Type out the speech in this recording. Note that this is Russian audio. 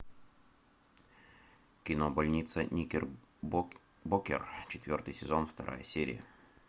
кино больница никербокер четвертый сезон вторая серия